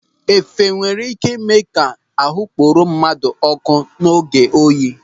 Efe nwere ị́ké ịme ka ahụ kporo mmadụ ọ́kụ́ n'oge oyi.